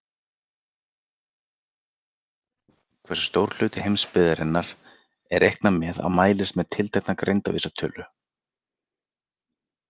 Súluritið sýnir hversu stór hluti heimsbyggðarinnar er reiknað með að mælist með tiltekna greindarvísitölu.